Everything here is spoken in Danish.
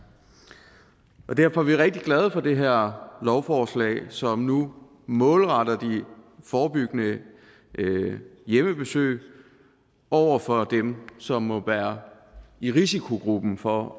derfor er vi rigtig glade for det her lovforslag som nu målretter de forebyggende hjemmebesøg over for dem som må være i risikogruppen for